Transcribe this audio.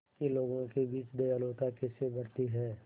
कि लोगों के बीच दयालुता कैसे बढ़ती है